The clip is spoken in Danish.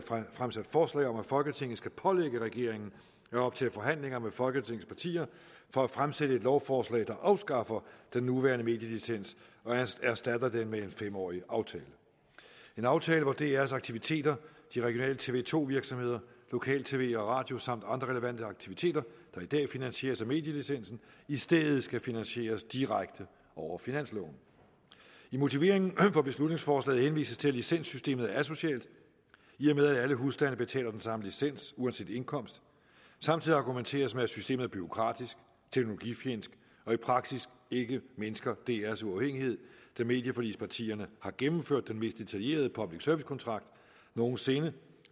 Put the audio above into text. fremsat forslag om at folketinget skal pålægge regeringen at optage forhandlinger med folketingets partier for at fremsætte et lovforslag der afskaffer den nuværende medielicens og erstatter den med en fem årig aftale en aftale hvor drs aktiviteter de regionale tv to virksomheder lokal tv og radio samt andre relevante aktiviteter der i dag finansieres af medielicensen i stedet skal finansieres direkte over finansloven i motiveringen for beslutningsforslaget henvises til at licenssystemet er asocialt i og med at alle husstande betaler den samme licens uanset indkomst samtidig argumenteres med at systemet er bureaukratisk teknologifjendsk og i praksis mindsker drs uafhængighed da medieforligspartierne har gennemført den mest detaljerede public service kontrakt nogen sinde